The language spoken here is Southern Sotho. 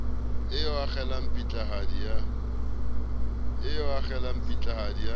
eo a akgela pitlahadi ya